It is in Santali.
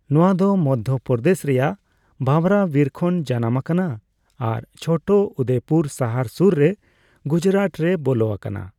ᱱᱚᱣᱟ ᱫᱚ ᱢᱚᱹᱫᱽᱫᱷᱚᱯᱨᱫᱮᱥ ᱨᱮᱭᱟᱜ ᱵᱷᱟᱵᱷᱨᱟ ᱵᱤᱨ ᱠᱷᱚᱱ ᱡᱟᱱᱟᱢ ᱟᱠᱟᱱᱟ ᱟᱨ ᱪᱷᱳᱴᱚ ᱩᱫᱮᱯᱩᱨ ᱥᱟᱦᱟᱨ ᱥᱩᱨ ᱨᱮ ᱜᱩᱡᱽᱨᱟᱴ ᱨᱮ ᱵᱚᱞᱚ ᱟᱠᱟᱱᱟ ᱾